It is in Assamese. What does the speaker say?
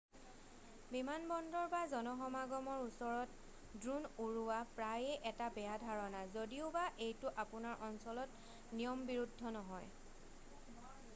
বিমানবন্দৰ বা জনসমাগমৰ ওচৰত ড্ৰোন উৰোৱা প্ৰায়েই এটা বেয়া ধাৰণা যদিওবা এইটো আপোনাৰ অঞ্চলত নিয়মবিৰুদ্ধ নহয়